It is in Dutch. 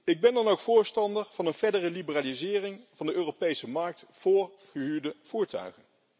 Ik ben dan ook voorstander van een verdere liberalisering van de Europese markt voor gehuurde voertuigen.